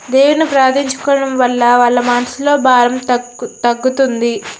దేవుని ప్రార్థించుకోవడం వల్ల వాళ్ళ మనసులోని భారం తగ్గు తగ్గుతుంది.